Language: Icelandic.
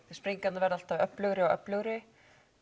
sprengingarnar verða alltaf öflugri og öflugri